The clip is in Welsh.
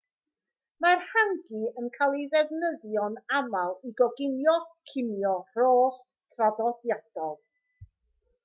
mae'r hangi yn cael ei ddefnyddio'n aml i goginio cinio rhost traddodiadol